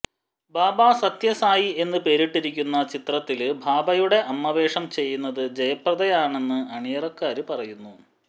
ബാബ സത്യ സായി എന്ന് പേരിട്ടിരിക്കുന്ന ചിത്രത്തില് ബാബയുടെ അമ്മവേഷം ചെയ്യുന്നത് ജയപ്രദയാണെന്ന് അണിയറക്കാര് പറയുന്നു